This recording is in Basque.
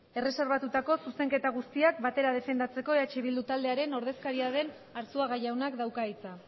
ez erreserbatutako zuzenketa guztiak batera defendatzeko eh bildu taldearen ordezkaria den arzuaga jaunak dauka hitza